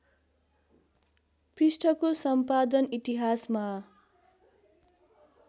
पृष्ठको सम्पादन इतिहासमा